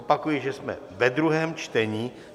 Opakuji, že jsme ve druhém čtení.